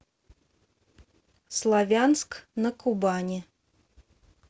славянск на кубани